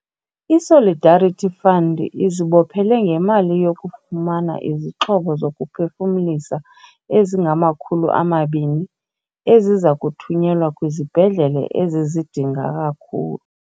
I-Solidarity Fund izibophele ngemali yokufumana izixhobo zokuphefumlisa ezingama-200, eziza kuthunyelwa kwizibhedlele ezizidinga kakhulu.